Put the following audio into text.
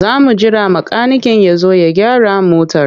Za mu jira makaniken ya zo ya gyara motar.